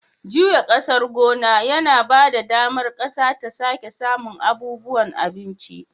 Juya ƙasar gona yana ba da damar ƙasa ta sake samun abubuwan abinci.